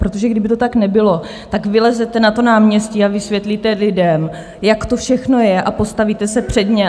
Protože kdyby to tak nebylo, tak vylezete na to náměstí a vysvětlíte lidem, jak to všechno je, a postavíte se před ně.